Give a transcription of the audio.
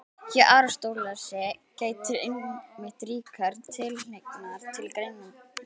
Hjá Aristótelesi gætir einmitt ríkrar tilhneigingar til greinandi hugsunar.